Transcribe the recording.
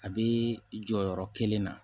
A bɛ jɔyɔrɔ kelen na